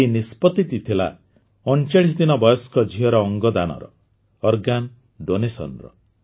ଏହି ନିଷ୍ପତିଟି ଥିଲା ୩୯ ଦିନ ବୟସ୍କ ଝିଅର ଅଙ୍ଗଦାନର ଅର୍ଗାନ ଡୋନେସନରେ